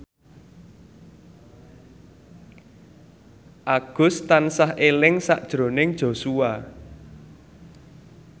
Agus tansah eling sakjroning Joshua